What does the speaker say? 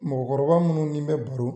Mɔgɔkɔrɔba munnu n'i bɛ baro